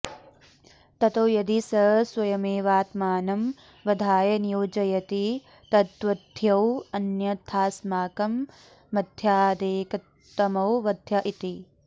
ततो यदि स स्वयमेवात्मानं वधाय नियोजयति तद्वध्योऽन्यथास्माकं मध्यादेकतमो वध्य इति